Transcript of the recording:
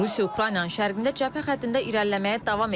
Rusiya Ukraynanın şərqində cəbhə xəttində irəliləməyə davam edib.